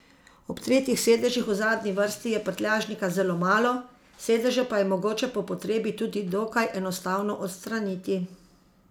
Ob tretjih sedežih v zadnji vrsti je prtljažnika zelo malo, sedeže pa je mogoče po potrebi tudi dokaj enostavno odstraniti.